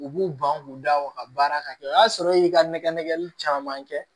U b'u ban k'u da o ka baara ka kɛ o y'a sɔrɔ e y'i ka nɛgɛ nɛgɛli caman kɛ